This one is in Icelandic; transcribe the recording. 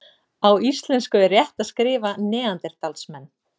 Á íslensku er rétt að skrifa neanderdalsmenn.